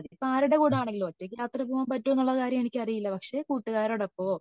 അതിപ്പോ ആരുടെ കൂടെ ആണെങ്കിലും ഒറ്റക് യാത്ര പോവാൻ പറ്റോ എന്നുള്ള കാര്യം എനിക്ക് അറിയില്ല പക്ഷെ കൂട്ടുകാരോടൊപ്പമോ